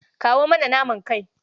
Kawo mana naman kai.